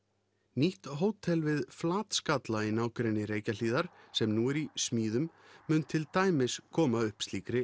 nýtt hótel við í nágrenni Reykjahlíðar sem nú er í smíðum mun til dæmis koma upp slíkri